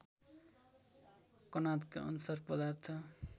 कणादका अनुसार पदार्थ